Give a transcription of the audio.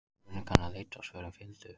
Spurningarnar leiddu og svörin fylgdu.